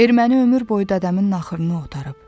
Erməni ömür boyu dədəmin naxırını otarıb.